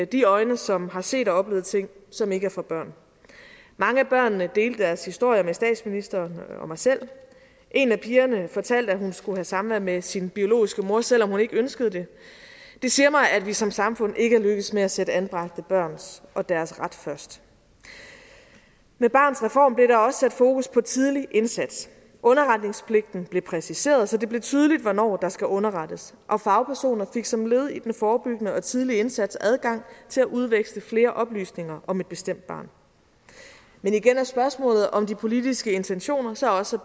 de øjne som har set og oplevet ting som ikke er for børn mange af børnene delte deres historier med statsministeren og jeg selv en af pigerne fortalte at hun skulle have samvær med sin biologiske mor selv om hun ikke ønskede det det siger mig at vi som samfund ikke er lykkedes med at sætte anbragte børn og deres ret først med barnets reform blev der også sat fokus på tidlig indsats underretningspligten blev præciseret så det blev tydeligt hvornår der skal underrettes og fagpersoner fik som led i den forebyggende og tidlige indsats adgang til at udveksle flere oplysninger om et bestemt barn men igen er spørgsmålet om de politiske intentioner så også